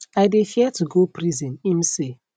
i dey fear to go prison im say